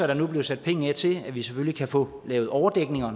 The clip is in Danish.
der nu bliver sat penge af til at vi selvfølgelig kan få lavet overdækninger